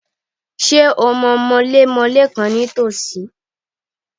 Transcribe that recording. Ṣé o mọ mọlémọlé kànkan ní tòsí?